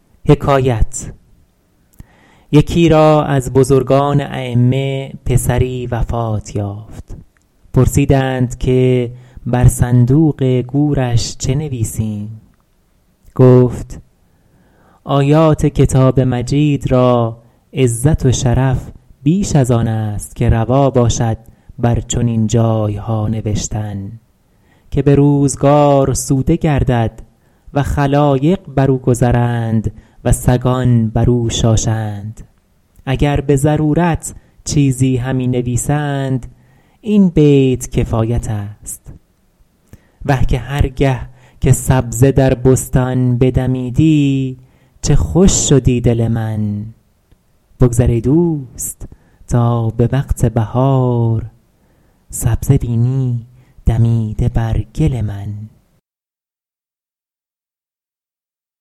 یکی را از بزرگان ایمه پسری وفات یافت پرسیدند که بر صندوق گورش چه نویسیم گفت آیات کتاب مجید را عزت و شرف بیش از آن است که روا باشد بر چنین جایها نوشتن که به روزگار سوده گردد و خلایق بر او گذرند و سگان بر او شاشند اگر به ضرورت چیزی همی نویسند این بیت کفایت است وه که هر گه که سبزه در بستان بدمیدی چه خوش شدی دل من بگذر ای دوست تا به وقت بهار سبزه بینی دمیده بر گل من